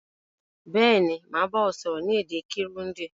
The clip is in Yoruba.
Béèni, màá ba ọ sọ́rọ́ ni èdè Kirundi